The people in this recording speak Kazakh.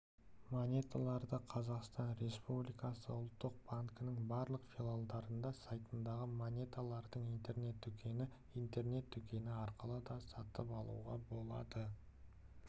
монеталарды қазақстан республикасы ұлттық банкінің барлық филиалдарында сайтындағы монеталардың интернет-дүкені интернет-дүкені арқылы да сатып алуға болады